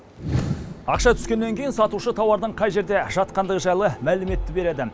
ақша түскеннен кейін сатушы тауардың қай жерде жатқандығы жайлы мәліметті береді